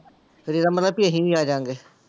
ਫਿਰ ਇਹਦਾ ਮਤਲਬ ਵੀ ਅਸੀਂ ਵੀ ਆ ਜਾਵਾਂਗੇ।